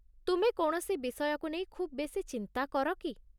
ତୁମେ କୌଣସି ବିଷୟକୁ ନେଇ ଖୁବ୍ ବେଶି ଚିନ୍ତା କର କି?